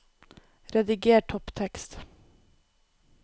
Rediger topptekst